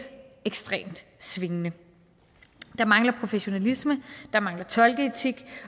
ekstremt svingende der mangler professionalisme der mangler tolkeetik